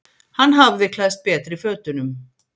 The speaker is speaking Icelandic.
Hann hafði klæðst betri fötunum.